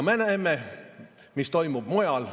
Me näeme, mis toimub mujal.